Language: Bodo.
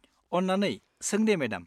अन्नानै सों दे मेडाम।